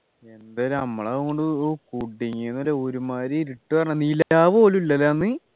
എന്ത് നമ്മൾ അതുകൊണ്ട് ഓ കുടുങ്ങിന്നല്ലേ ഒരുമാതിരി ഇരുട്ട് പറഞ്ഞാൽ നിലാവ് പോലുല്ല അല്ലേ അന്ന്